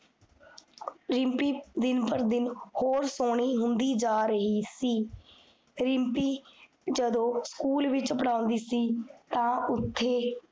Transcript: ਰਿਮ੍ਪੀ ਦਿਨ ਪ੍ਰਦਿਨ, ਹੋਰ ਸੋਹਨੀ ਹੁੰਦੀ ਜਾ ਰਹੀ ਸੀ ਰਿਮ੍ਪੀ ਜਦੋ school ਵਿਚ ਪੜ੍ਹਾਉਂਦੀ ਸੀ, ਤਾਂ ਓਥੇ